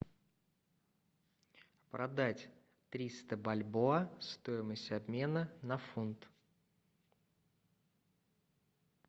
продать триста бальбоа стоимость обмена на фунт